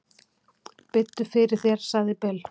"""Biddu fyrir þér, sagði Bill."""